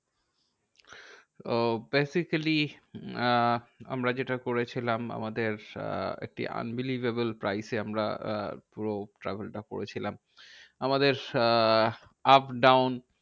উহ basically ah আমরা যেটা করেছিলাম আমাদের আহ একটি unbelievable price এ আমরা আহ পুরো travel টা করেছিলাম। আমাদের আহ up down